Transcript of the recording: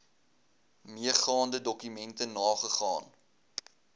meegaande dokumente nagegaan